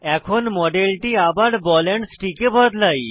এখন মডেলটি আবার বল এন্ড স্টিক এ বদলাই